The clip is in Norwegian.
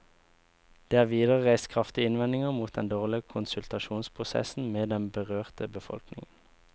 Det er videre reist kraftige innvendinger mot den dårlige konsultasjonsprosessen med den berørte befolkningen.